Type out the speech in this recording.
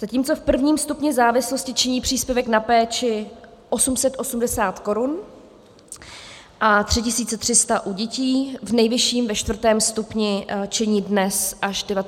Zatímco v prvním stupni závislosti činí příspěvek na péči 880 korun a 3 300 u dětí, v nejvyšším, čtvrtém stupni činí dnes až 19 200 korun.